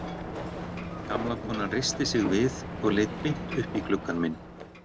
Gamla konan reisti sig við og leit beint upp í gluggann minn.